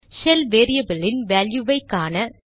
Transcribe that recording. shell வேரியபிளின் வேல்யுவை காண